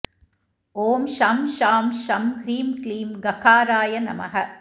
ॐ शं शां षं ह्रीं क्लीं गकाराय नमः